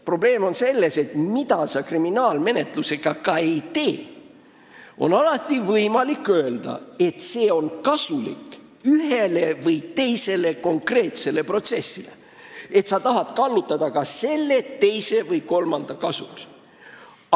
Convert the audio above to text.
Probleem on selles, et mida sa ka kriminaalmenetlusega ette ei võta, alati on võimalik öelda, et see tuleb kasuks ühele või teisele konkreetsele protsessile, et sa tahad seda kallutada kas selle või teise kasuks.